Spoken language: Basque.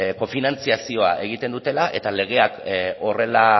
kofinantzazioa egiten dutela eta legeak horrela